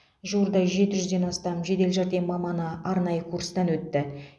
жуырда жеті жүзден астам жедел жәрдем маманы аранайы курстан өтті